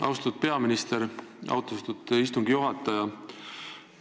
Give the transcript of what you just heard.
Austatud peaminister!